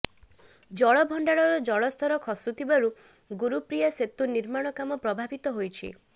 ଜଳ ଭଣ୍ଡାରର ଜଳସ୍ତର ଖସୁଥିବାରୁ ଗୁରୁପ୍ରୀୟା ସେତୁ ନିର୍ମାଣ କାମ ପ୍ରଭାବିତ ହୋଇଛି